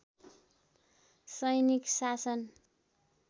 सैनिक शासन